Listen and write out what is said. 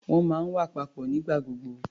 Wọ́n máa ń wà papọ̀ nígbà gbogbo.